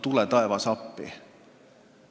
Tule taevas appi!